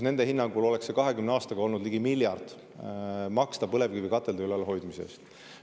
Nende hinnangul tuleks 20 aastaks põlevkivikatelde ülalhoidmise eest maksta ligi miljard.